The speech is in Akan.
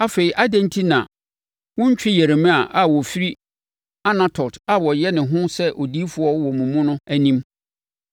Afei adɛn enti na wontwi Yeremia a ɔfiri Anatot a ɔyɛ ne ho sɛ odiyifoɔ wɔ mo mu no anim?